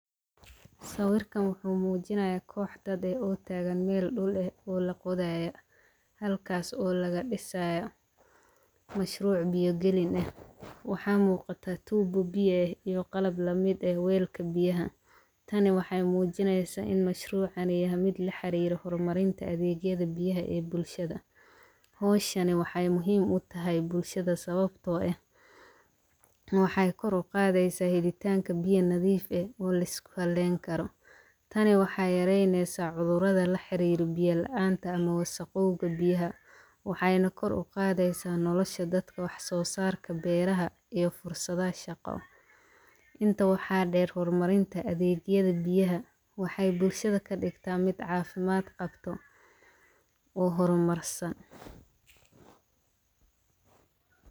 Saawirkan wuxu muujinaya koox dad ee oo taagan meel dhul eh oo la quudaaya halkaas oo laga dhisaa mashruuc biyogelin ah. Waxaa muuqata tuubo biye iyo qalab la mid ee weylka biyaha. Tani waxay muujinaysa in mashruucani yahay mid la xiriira hormarinta adeegyada biyaha ee bulshada. Hooshani waxay muhiim u tahay bulshada sababtoo ah in wax ay kor qaadaysa helitaanka biya nadiif ah oo la isku kalleyn karo. Tani waxaa yaraynaysa cudurada la xiriir biyaa la'aanta ama saqooga biyaha. Waxayna kor u qaadaysa nolosha dadka, wax soo saarka beeraha iyo fursada shaqo. Inta waxaa dheer hormarinta adeegyada biyaha, waxay bulshada ka dhigtaa mid caafimaad qabto oo horumarsan.